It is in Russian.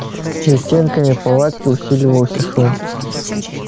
за стенками палатки усиливался шум